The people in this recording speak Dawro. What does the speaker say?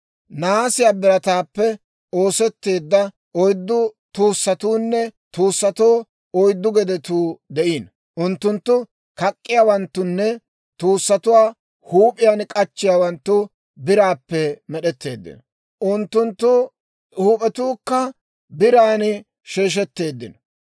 Nahaasiyaa birataappe oosetteedda oyddu tuussatuunne tuussatoo oyddu gedetuu de'iino. Unttunttu kak'k'iyaawanttunne tuussatuwaa huup'iyaan k'achchiyaawanttu biraappe med'etteeddino; unttunttu huup'etuukka biran sheeshetteeddino.